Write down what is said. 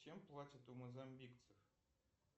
чем платят у мозамбикцев